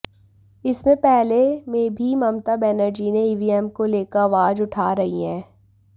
इससे पहले में भी ममता बनर्जी ने ईवीएम को लेकर आवाज उठा रही हैं